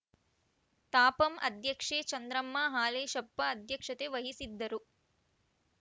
ತಾಪಂ ಅಧ್ಯಕ್ಷೆ ಚಂದ್ರಮ್ಮ ಹಾಲೇಶಪ್ಪ ಅಧ್ಯಕ್ಷತೆ ವಹಿಸಿದ್ದರು